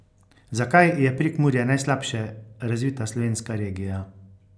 Zakaj je Prekmurje najslabše razvita slovenska regija?